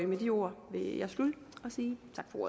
med de ord vil jeg slutte og sige